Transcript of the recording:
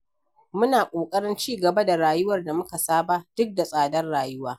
Muna ƙoƙarin ci gaba da rayuwar da muka saba, duk da tsadar rayuwa.